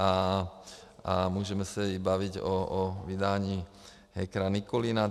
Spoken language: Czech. A můžeme se i bavit o vydání hackera Nikulina.